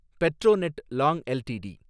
Petronet long LTD